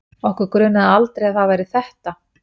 Okkur grunaði aldrei að það væri ÞETTA!